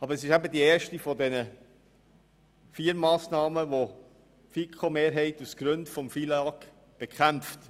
Aber es ist die erste der vier Massnahmen, die die FiKo-Mehrheit aufgrund des FILAG bekämpft.